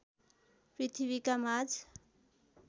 पृथ्वीका माझ